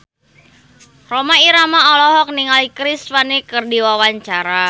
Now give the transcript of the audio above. Rhoma Irama olohok ningali Chris Pane keur diwawancara